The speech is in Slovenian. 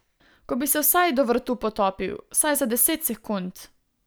Ko bi se vsaj do vratu potopil, vsaj za deset sekund.